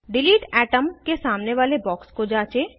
delete item के सामने वाले बॉक्स को जाँचें